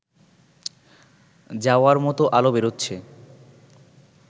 যাওয়ার মতো আলো বেরোচ্ছে